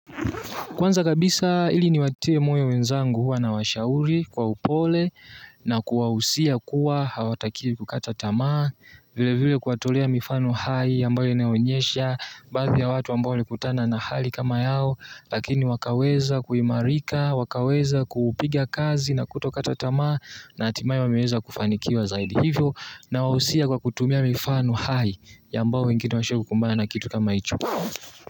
Kwanza kabisa, ili niwatie moyo mwenzangu huwa nawashauri kwa upole na kuwahusia kuwa hawatakiwi kukata tamaa, vile vile kuwatolea mifano hai ambayo inaonyeshia baadhi ya watu ambao walikutana na hali kama yao, lakini wakaweza kuimarika, wakaweza kuupiga kazi na kutokata tamaa na hatimaya wameweza kufanikiwa zaidi, hivyo nawausia kwa kutumia mifano hai ambao wengine washawahi kukumbana na kitu kama hicho.